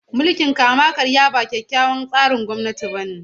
Mulkin kama-karya ba kyakkyawan tsarin gwamnati bane.